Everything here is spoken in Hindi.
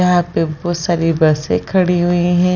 यहाँ पे बहुत सारी बसे खड़ी हुई हैं ।